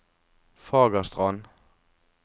Fagerstrand